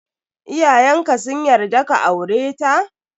Iyayenka sun yarda ka aure ta?